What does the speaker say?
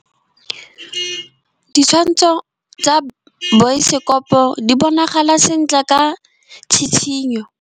Ditshwantshô tsa biosekopo di bonagala sentle ka tshitshinyô.